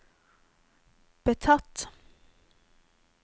betatt